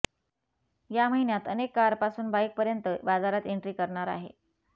या महिन्यात अनेक कारपासून बाईक पर्यंत बाजारात एन्ट्री करणार आहे